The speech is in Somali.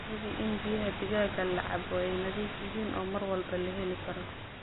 Hubi in biyaha digaaga la cabbo ay nadiif yihiin oo mar walba la heli karo.